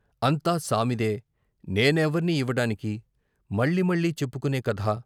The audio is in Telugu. అంతా సామిదే, నేనెవర్ని ఇవ్వడానికి, మళ్ళీ మళ్ళీ చెప్పుకునే కథ